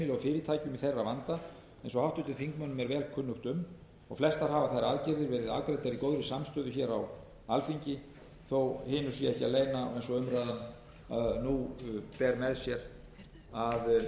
í þeirra vanda eins og háttvirtum þingmönnum er vel kunnugt um flestar hafa þær aðgerðir verið afgreiddar í góðri samstöðu hér á alþingi þótt hinu sé ekki að leyna eins og umræðan nú ber með sér að